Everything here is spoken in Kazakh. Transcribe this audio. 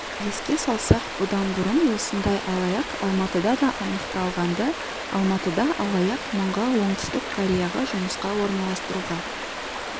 еске салсақ бұдан бұрын осындай алаяқ алматыда да анықталғанды алматыда алаяқ мыңға оңтүстік кореяға жұмысқа орналастыруға